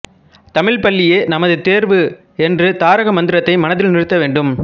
தமிழ்ப்பள்ளியே நமது தேர்வு என்ற தாரக மந்திரத்தை மனதில் நிறுத்த வேண்டும்